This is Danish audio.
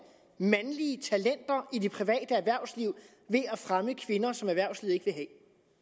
mandlige talenter i det private erhvervsliv ved at fremme kvinder som erhvervslivet ikke